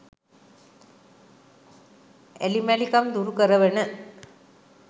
ඇලි මැලි කම් දුරුකරවන